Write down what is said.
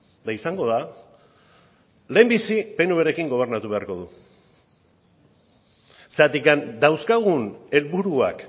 eta izango da lehenbizi pnvrekin gobernatu beharko du zergatik dauzkagun helburuak